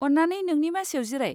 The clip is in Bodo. अन्नानै नोंनि मासियाव जिराय।